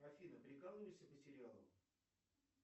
афина прикалываешься по сериалам